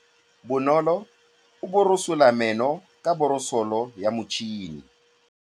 Bonolô o borosola meno ka borosolo ya motšhine.